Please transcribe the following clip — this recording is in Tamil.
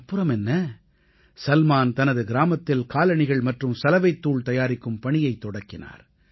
அப்புறமென்ன சல்மான் தனது கிராமத்தில் காலணிகள் மற்றும் சலவைத்தூள் தயாரிக்கும் பணியைத் தொடக்கினார்